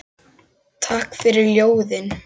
Takk fyrir ljóðin.